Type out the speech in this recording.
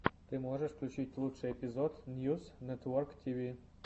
ты можешь включить лучший эпизод ньюс нэтворктиви